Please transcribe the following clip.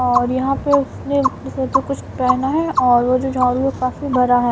और यहां पे उसने जिस्म पे कुछ पहना है और वो जो झाड़ू काफी भरा है।